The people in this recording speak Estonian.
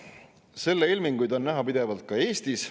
Selle ilminguid on pidevalt näha ka Eestis.